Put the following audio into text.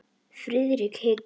Friðrik hikaði.